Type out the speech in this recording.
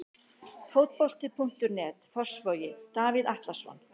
Fótbolti.net, Fossvogi- Davíð Atlason.